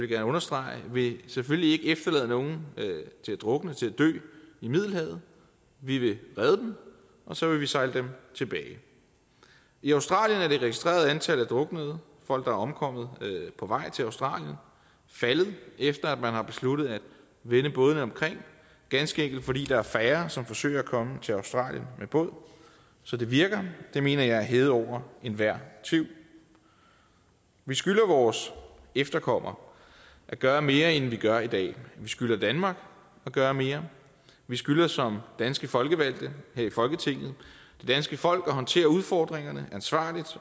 gerne understrege vil selvfølgelig ikke efterlade nogen til at drukne til at dø i middelhavet vi vil redde dem og så vil vi sejle dem tilbage i australien er det registrerede antal af druknede folk der er omkommet på vej til australien faldet efter at man har besluttet at vende bådene omkring ganske enkelt fordi der er færre som forsøger at komme til australien med båd så det virker det mener jeg er hævet over enhver tvivl vi skylder vores efterkommere at gøre mere end vi gør i dag vi skylder danmark at gøre mere vi skylder som danske folkevalgte her i folketinget det danske folk at håndtere udfordringerne ansvarligt